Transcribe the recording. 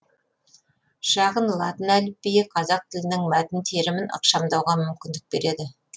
шағын латын әліпбиі қазақ тілінің мәтін терімін ықшамдауға мүмкіндік береді